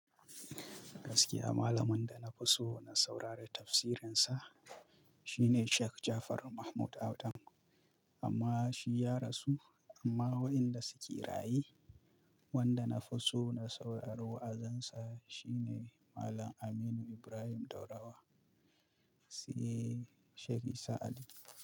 Gaskiya malamin da na fi so na saurari tafsirinsa shine Sheik Jafar Mahmud Adam amma shi ya rasu. Amma waɗanda suƙi raye wanda na fi so na saurari wa'azansa shine Malam Aminu Ibrahim Daurawa. Siye Sheik Isa Ali.